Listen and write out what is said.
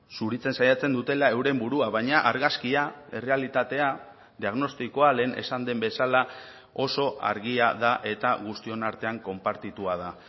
zuritzen saiatzen dutela euren burua baina argazkia errealitatea diagnostikoa lehen esan den bezala oso argia da eta guztion artean konpartitua da